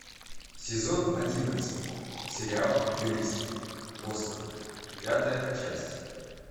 сезон одиннадцать сериал юристы бостона пятая часть